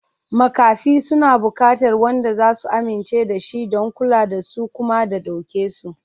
Makafi suna buƙatar wanda za su amince da shi don kula da su kuma ya ɗauke su.